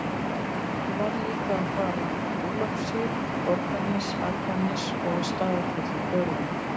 Ég varð líka að fara í Ólafsvík, Borgarnes, Akranes og á Staðarfell í Dölum